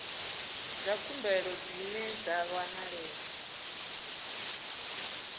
dza khumbelo dzine dza wanalea